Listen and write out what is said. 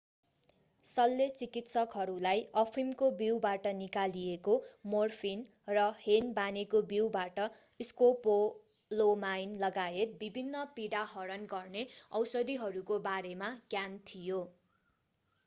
शल्यचिकित्सकहरूलाई अफिमको बीउबाट निकालिएको मोर्फिन र हेनबानेको बीउबाट स्कोपोलोमाइन लगायत विभिन्न पीडाहरण गर्ने औषधिहरूको बारेमा ज्ञान थियो